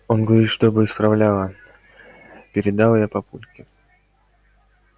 он говорит чтобы исправляла передала я папульке